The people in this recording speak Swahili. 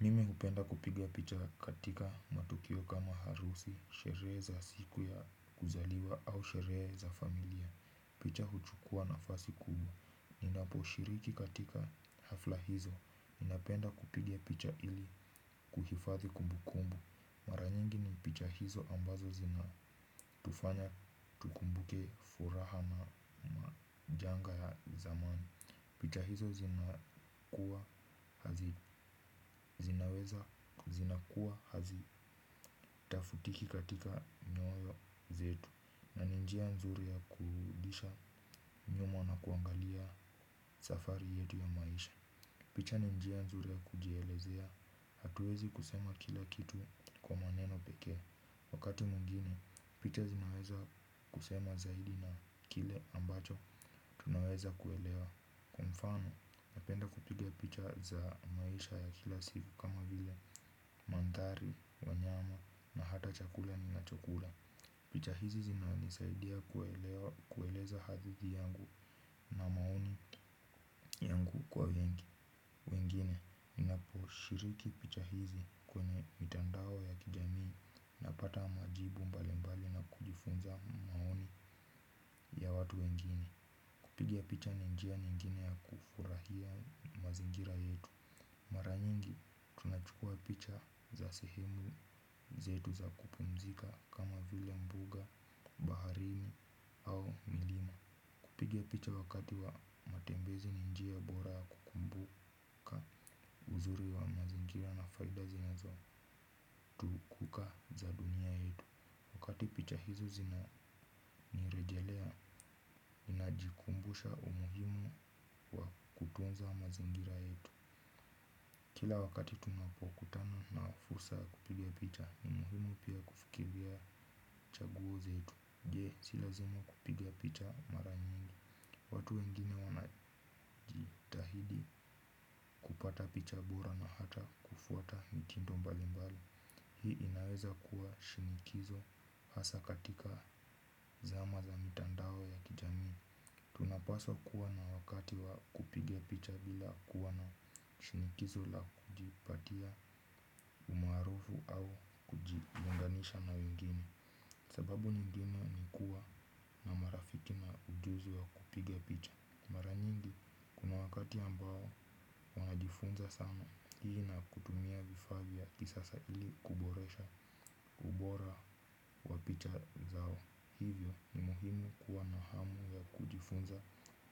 Mimi hupenda kupigia picha katika matukio kama harusi, sherehe za siku ya kuzaliwa au sherehe za familia. Picha huchukua nafasi kubwa. Ninaposhiriki katika hafla hizo. Ninapenda kupiga picha ili kuhifadhi kumbukumbu. Mara nyingi ni picha hizo ambazo zinatufanya tukumbuke furaha na janga ya zamani. Picha hizo zinaweza zinaweza zinaweza hazi tafutiki katika nyoyo zetu. Na ni njia nzuri ya kurudisha nyuma na kuangalia safari yetu ya maisha. Picha ni njia nzuri ya kujielezea hatuwezi kusema kila kitu kwa maneno peke. Wakati mwingine picha zinaweza kusema zaidi na kile ambacho tunaweza kuelewa. Kwa mfano, napenda kupiga picha za maisha ya kila siku kama vile mandhari, wanyama na hata chakula ninachokula picha hizo zinanisaidia kueleza hadithi yangu na maoni yangu kwa wengi. Mimi hupenda kupigia picha katika matukio kama harusi, sherehe za siku ya kuzaliwa au sherehe za familia. Piga picha ni njia nyingine ya kufurahia mazingira yetu. Mara nyingi tunachukuaa picha za sehemu zetu za kupumzika kama vile mbuga, baharini au milima. Pigia picha wakati wa matembezi ni njia bora kukumbuka uzuri wa mazingira na faida zinazo picha hizi zinanirejelea najikumbusha umuhimu wa kutunza mazingira yetu. Kila wakati tunapokutana na fursa ya kupiga picha ni muhimu pia kufikiria chaguo zetu jee si lazima kupiga picha mara nyingi. Watu wengine wanajitahidi kupata picha bora na hata kufuata mitindo mbali mbali. Hii inaweza kuwa shinikizo hasa katika zama za mitandao ya kijamii. Napaswa kuwa na wakati wa kupiga picha bila kuwa na shinikizo la kujipatia umaarufu au kujiunganisha na wengine. Sababu nyingine ni kuwa na marafiki na ujuzi wa kupiga picha. Mara nyingi kuna wakati ambao wanajifunza sana. Hii na kutumia vifaa vya kisasa ili kuboresha ubora picha zao. Hivyo ni muhimu kuwa na hamu ya kujifunza